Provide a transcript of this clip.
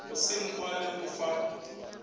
go senkwa le go fa